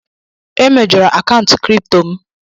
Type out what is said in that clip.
E mejọrọ akaụntụ Kripto m